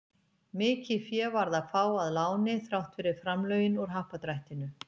Mikið fé varð að fá að láni þrátt fyrir framlögin úr Happdrættinu.